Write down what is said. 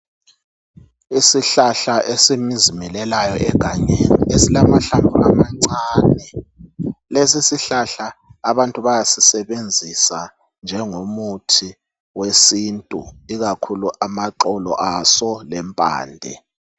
Isihlahla esizimilelayo egangeni esilamahlamvu amancane. Lesi isihlahla abantu bayasebenzisa njengomuthi wesintu ikakhulu amaxolo aso lempande .